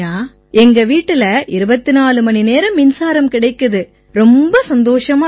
எங்க வீட்டில 24 மணிநேரம் மின்சாரம் கிடைக்குது ரொம்ப சந்தோஷமா இருக்கு